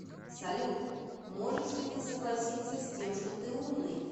салют можешь ли ты согласиться с тем что ты умный